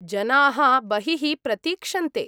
जनाः बहिः प्रतीक्षन्ते।